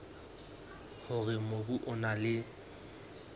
hore mobu o na le